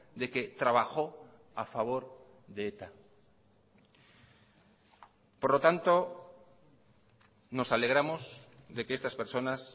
de que trabajó a favor de eta por lo tanto nos alegramos de que estas personas